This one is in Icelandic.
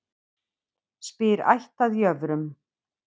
Spyr ætt að jöfrum.